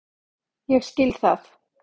Ég skil það.